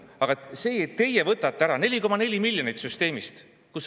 Aga teie võtate ära 4,4 miljonit eurot süsteemist.